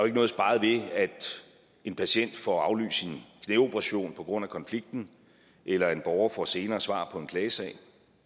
ikke noget sparet ved at en patient får aflyst sin knæoperation på grund af konflikten eller at en borger får senere svar på en klagesag